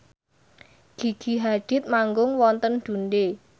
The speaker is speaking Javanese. Gigi Hadid manggung wonten Dundee